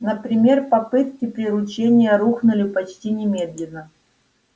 например попытки приручения рухнули почти немедленно